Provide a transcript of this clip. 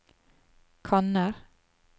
kanner